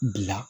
Bila